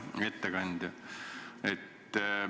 Hea ettekandja!